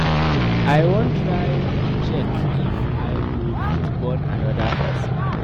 I wan try check if I go fit born another person